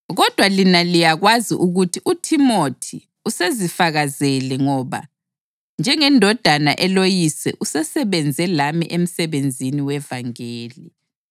Kodwa lina liyakwazi ukuthi uThimothi usezifakazele ngoba njengendodana eloyise usesebenze lami emsebenzini wevangeli.